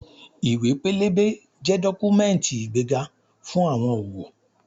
Ìwé-pélébé jẹ́ dọ́kúmẹ́ǹtì ìgbéga fún àwọn òwò